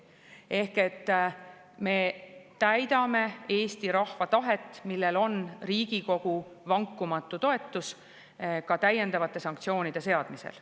Ehk me täidame Eesti rahva tahet, millel on Riigikogu vankumatu toetus, ka täiendavate sanktsioonide seadmisel.